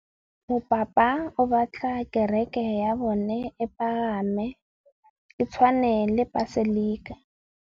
Mopapa o batla kereke ya bone e pagame, e tshwane le paselika.